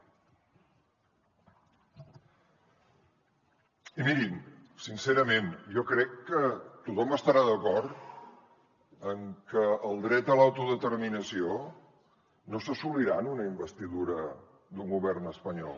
i mirin sincerament jo crec que tothom deu estar d’acord amb que el dret a l’autodeterminació no s’assolirà en una investidura d’un govern espanyol